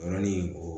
Yɔrɔnin o